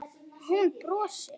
Hún brosir.